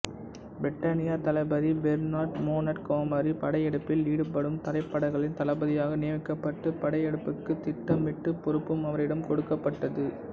பிரிட்டானிய தளபதி Bernard Montgomery படையெடுப்பில் ஈடுபடும் தரைப்படைகளின் தளபதியாக நியமிக்கப்பட்டு படையெடுப்புக்கு திட்டமிடும் பொறுப்பும் அவரிடம் கொடுக்கப்பட்டது